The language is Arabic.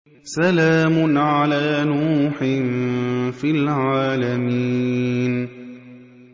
سَلَامٌ عَلَىٰ نُوحٍ فِي الْعَالَمِينَ